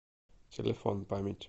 телефон память